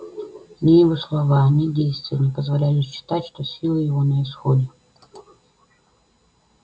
ни его слова ни действия не позволяли считать что силы его на исходе